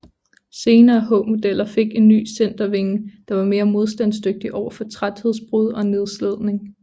Senere H modeller fik en ny centervinge der var mere modstandsdygtig overfor træthedsbrud og nedslidning